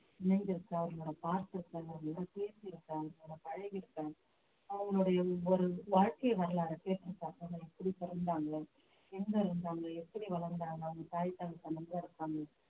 இணைந்திருக்கேன் அவர்கள நான் பார்த்திருக்கேன் அவர்களுடன் பேசியிருக்கேன் அவங்களோட பழகியிருக்கேன் அவங்கடைய ஒவ்வொரு வாழ்க்கை வரலாறை எப்படி பிறந்தாங்களோ எங்க இருந்தாங்க எப்படி வளர்ந்தாங்க அவங்க தாய் தகப்பன் எங்க இருக்காங்க